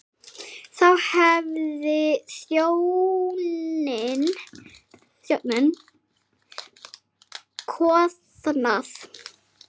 Þá hefði þjóðin koðnað.